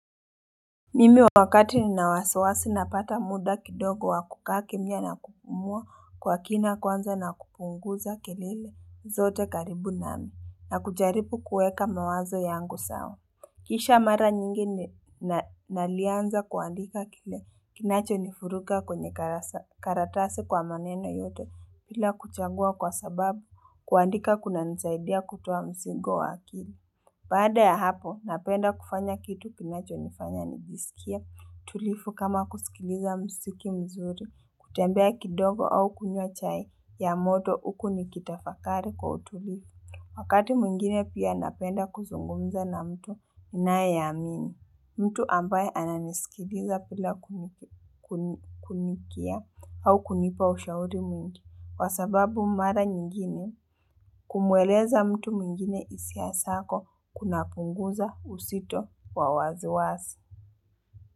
Mimi wakati nina wasiwasi napata muda kidogo wa kukaa kimya na kupumua kwa kina kwanza na kupunguza kelele zote karibu nami na kujaribu kuweka mawazo yangu sawa Kisha mara nyingine na nalianza kuandika kile kinacho nifuruga kwenye karatasi kwa maneno yote bila kuchagua kwa sababu kuandika kunanisaidia kutowa mzigo wa akili Baada ya hapo, napenda kufanya kitu kinacho nifanya nijisikie tulivu kama kusikiliza mziki mzuri, kutembea kidogo au kunywa chai ya moto huku nikitafakari kwa utulivu. Wakati mwingine pia napenda kuzungumza na mtu, ninayeamini, mtu ambaye ananisikiliza bila kunikia au kunipa ushauri mwingi. Kwa sababu mara nyingine, kumweleza mtu mwingine hisia zako kunapunguza uzito wa wasiwasi.